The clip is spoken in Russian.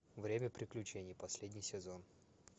время приключений последний сезон